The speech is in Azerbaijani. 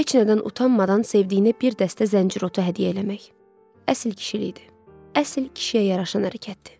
Heç nədən utanmadan sevdiyinə bir dəstə zəncir otu hədiyyə eləmək, əsl kişilikdir, əsl kişiyə yaraşan ərkəkdir.